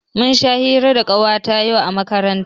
Mun sha hira da Ƙawata yau a makaranta.